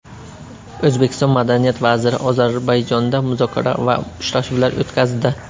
O‘zbekiston madaniyat vaziri Ozarbayjonda muzokara va uchrashuvlar o‘tkazdi.